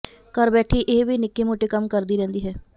ਘਰ ਬੈਠੀ ਇਹ ਵੀ ਨਿੱਕੇ ਮੋਟੇ ਕੰਮ ਕਰਦੀ ਰਹਿੰਦੀ ਹੈ